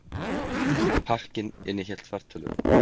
Pakkinn innihélt fartölvu